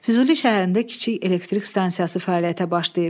Füzuli şəhərində kiçik elektrik stansiyası fəaliyyətə başlayıb.